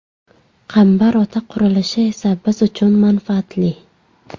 Qambar Ota qurilishi esa biz uchun manfaatli.